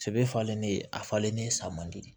Sɛbɛ falennen a falennen san man di